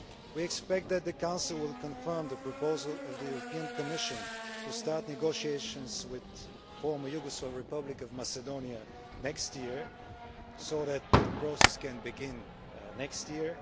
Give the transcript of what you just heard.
We expect that the Council will confirm the proposal of the European Commission to start negotiations with the former Yugoslav Republic of Macedonia next year so that the process can begin next year.